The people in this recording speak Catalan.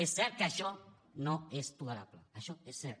és cert que això no és tolerable això és cert